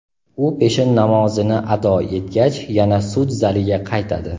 U peshin namozini ado etgach yana sud zaliga qaytadi.